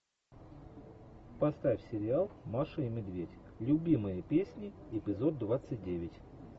поставь сериал маша и медведь любимые песни эпизод двадцать девять